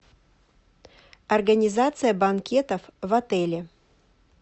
организация банкетов в отеле